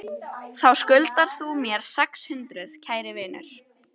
Þá skuldar þú mér sex hundruð, kæri vinur.